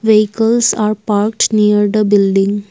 vehicles are parked near the building.